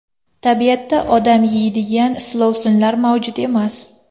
Tabiatda odam yeydigan silovsinlar mavjud emas.